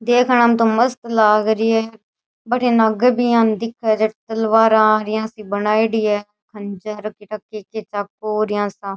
देखना में तो मस्त लाग री है भटीन आगे भी यहाँ दिखे है तलवारा इया सी बनायेडी है खंजर काई ठा के के चाकू इया सा।